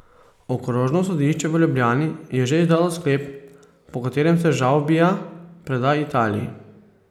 Okrožno sodišče v Ljubljani je že izdalo sklep, po katerem se Žavbija preda Italiji.